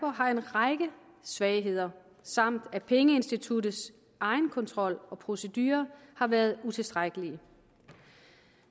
har en række svagheder samt at pengeinstitutternes egenkontrol og procedurer har været utilstrækkelige